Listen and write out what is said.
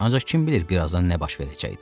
Ancaq kim bilir birazdan nə baş verəcəkdi?